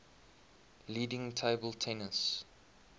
leading table tennis